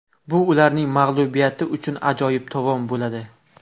Bu ularning mag‘lubiyati uchun ajoyib tovon bo‘ladi”.